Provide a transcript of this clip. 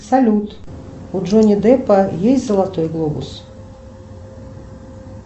салют у джонни деппа есть золотой глобус